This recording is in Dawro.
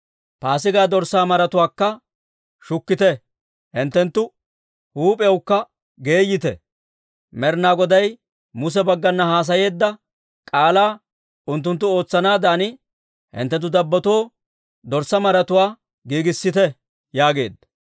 Paasigaa dorssaa maratuwaakka shukkite. Hinttenttu huup'iyawukka geeyite; Med'inaa Goday Muse baggana haasayeedda k'aalaa unttunttu ootsanaadan hinttenttu dabbotoo dorssaa maratuwaa giigissite» yaageedda.